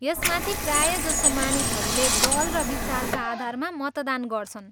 यसमाथि, प्रायजसो मानिसहरूले दल र विचारका आधारमा मतदान गर्छन्।